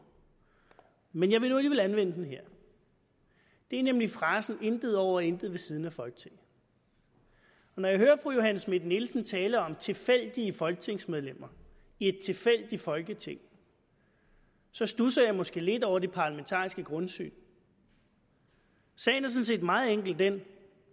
men jeg vil nu alligevel anvende den her det er nemlig frasen intet over og intet ved siden af folketinget når jeg hører fru johanne schmidt nielsen tale om tilfældige folketingsmedlemmer i et tilfældigt folketing studser jeg måske lidt over det parlamentariske grundsyn sagen set meget enkelt den